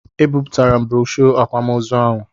Ebipụtara m broshoo akwamozu ahụ.